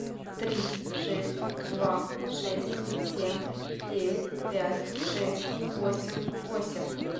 три шесть два шесть семь девять пять шесть восемь восемь